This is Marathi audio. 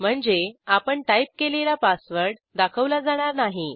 म्हणजे आपण टाईप केलेला पासवर्ड दाखवला जाणार नाही